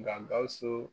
Nka gawusu